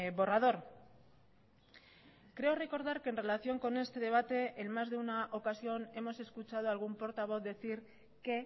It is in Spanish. borrador creo recordar que en relación con este debate en más de una ocasión hemos escuchado a algún portavoz decir que